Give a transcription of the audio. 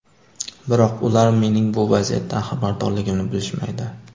Biroq ular mening bu vaziyatdan xabardorligimni bilishmaydi.